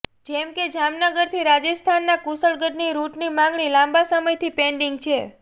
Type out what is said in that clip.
જેમ કે જામનગરથી રાજસ્થાનના કુશળગઢની રૂટની માંગણી લાંબા સમયથી પેન્ડીંગ છે